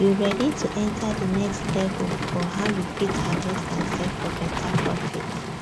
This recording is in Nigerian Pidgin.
you ready to enter the next level for how you fit harvest and sell for better profit